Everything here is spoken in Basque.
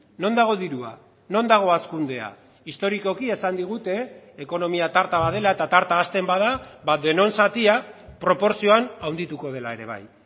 non dago dirua non dago hazkundea historikoki esan digute ekonomia tarta bat dela eta tarta hazten bada denon zatia proportzioan handituko dela ere bai